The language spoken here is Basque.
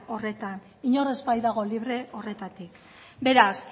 horretan inor ez baitago libre horretatik beraz